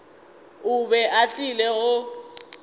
o be a tlile go